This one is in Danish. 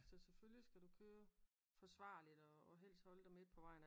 Så selvfølgelig skal du køre forsvarligt og helst holde dig midt på vejen